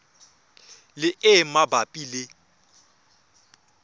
le e e mabapi le